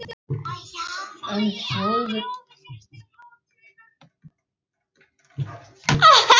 En til Þjóðviljans skyldi það og til Þjóðviljans fór það.